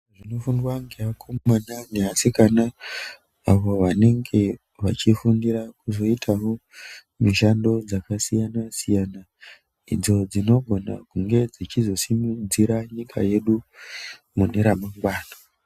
Zvinofundwa ngeakomana neasikana avo vanenge vachifundira kuzoitawo mishando dzakasiyana siyana idzo dzinogona kunge dzichizosimudzira nyika yedu mune ramangwana.